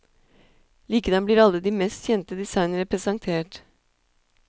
Likedan blir alle de mest kjente designerne presentert.